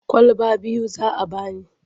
Kwalaba biyu za a ba ni.